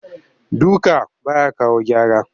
Duka ba ya kawo gyara